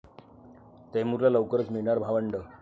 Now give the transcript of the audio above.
तैमूरला लवकरच मिळणार भावंड!